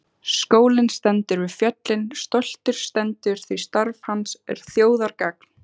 Skólinn við fjöllin stoltur stendur því starf hans er þjóðargagn.